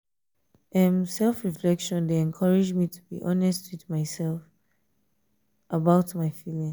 um self-reflection dey encourage me to be honest with myself um about my feelings.